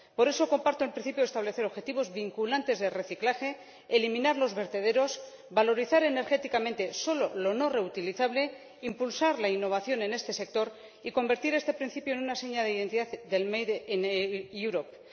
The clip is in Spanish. Por eso comparto el principio de establecer objetivos vinculantes de reciclaje, eliminar los vertederos, valorizar energéticamente solo lo no reutilizable, impulsar la innovación en este sector y convertir este principio en una seña de identidad del Made in Europe